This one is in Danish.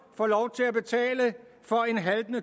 får lov til at betale for en haltende